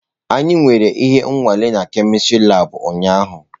Anyị nwere ihe nwale na kemistri labụ ụnyaahụ.